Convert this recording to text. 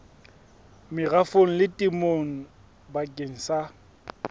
merafong le temong bakeng sa